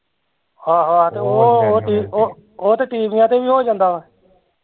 ਆਹੋ ਆਹੋ ਤੇ ਓਹ ਓਹ ਤੇ ਟੀਵੀਆ ਤੇ ਵੀ ਹੋ ਜਾਂਦਾ ਵਾ